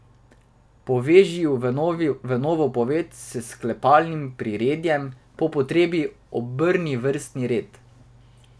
Poveži ju v novo poved s sklepalnim priredjem, po potrebi obrni vrstni red.